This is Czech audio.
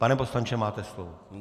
Pane poslanče, máte slovo.